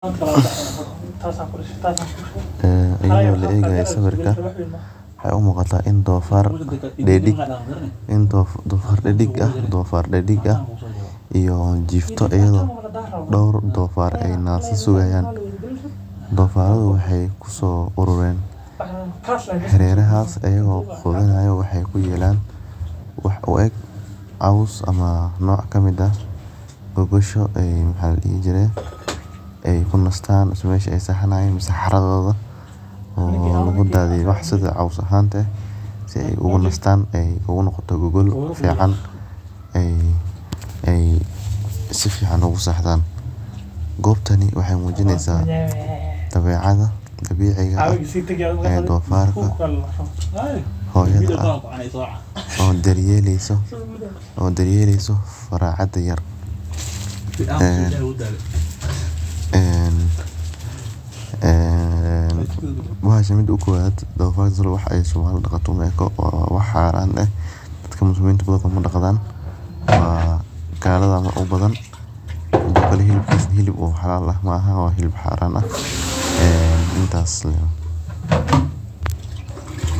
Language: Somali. Ee laegayo sawirka waxee u muqata in dofar didig ah iyo jifto iyada oo dor dofar nasa sugayan dofaradhu waxee kuso aroren hareradas wax u eg cos ama gogosha ee kunastan mase meshi ee sexanayin mase xaradoda lagu dadhiye si ee ogu nastan ee ogu noqoto gogol fican ee sifican ogu sexdan gobtani waxee mujineysa dabecada dabici eh ee dofarka hoyada ah oo daryelesa faracada yar ee bahasha mesha ukowan dadka muslinta badankod kuma daqman waa galada aya u badan hadana hilibkisa hilib xalala ah maaha midas aya.